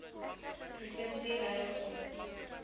provinsie ruil grond